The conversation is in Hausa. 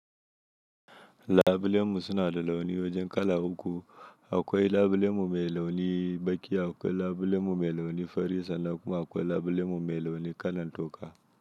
Labulemu suna da launi wajen kala uku, akwai labulemu mai launi baki, akwai labulemu mai launi fari sannan kuma akwai labulemu mai launi kalan toka.